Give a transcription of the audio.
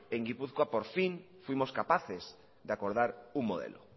en guipúzcoa por fin fuimos capaces de acordar un modelo